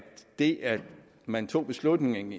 det at man tog beslutningen